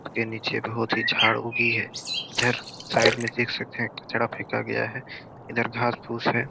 के नीचे बहुत ही झाड़ उगी है इधर साइड में देख सकते हैं कचरा फेका गया है इधर घास फुस है।